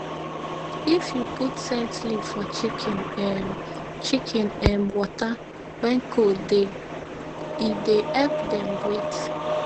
if u put scent leaf for chicken um chicken um water when cold dey e dey epp dem breath